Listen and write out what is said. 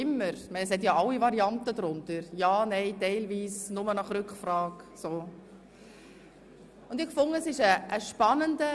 Sie finden ja darauf alle Varianten, die möglich sind, also ja, nein, teilweise, nur nach Rückfrage und so weiter.